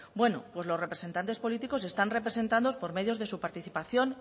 bueno pues los representantes políticos están representados por medio de su participación